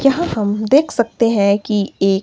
यहां हम देख सकते हैं कि एक--